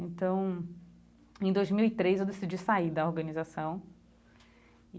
Então, em dois mil e três eu decidi sair da organização e